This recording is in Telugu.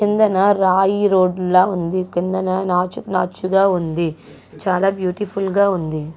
కిందన రాయి రోడ్ లా ఉంది. కిందన నాచు నాచు గా ఉంది. చాలా బ్యూటిఫుల్ గా ఉంది.